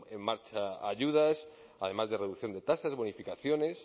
en marcha ayudas además de reducción de tasas bonificaciones